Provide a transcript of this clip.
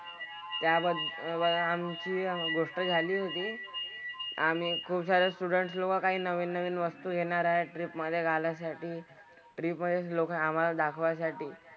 त्या वर अह आमची गोष्ट झाली होती. आम्ही खुपसारे student लोकं काही नवीन नवीन वस्तू घेणार आहेत trip मधे घालायसाठी. Trip मधेच लोकं आम्हाला दाखवायसाठी.